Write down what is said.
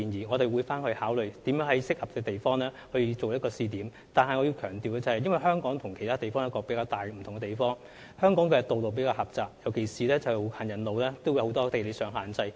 我們會考慮如何在合適之處闢設一個試點，但我必須強調，香港與其他地方一個較大不同之處，是香港的道路比較狹窄，特別是本地的行人路有很多地理上的限制。